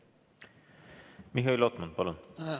Mihhail Lotman, palun!